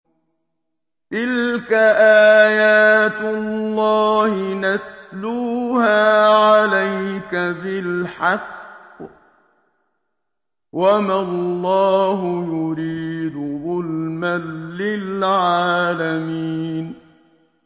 تِلْكَ آيَاتُ اللَّهِ نَتْلُوهَا عَلَيْكَ بِالْحَقِّ ۗ وَمَا اللَّهُ يُرِيدُ ظُلْمًا لِّلْعَالَمِينَ